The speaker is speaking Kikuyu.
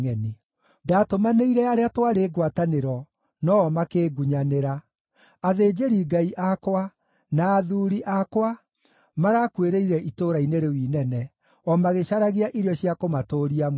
“Ndaatũmanĩire arĩa twarĩ ngwatanĩro, no-o makĩngunyanĩra. Athĩnjĩri-Ngai akwa, na athuuri akwa marakuĩrĩire itũũra-inĩ rĩu inene, o magĩcaragia irio cia kũmatũũria muoyo.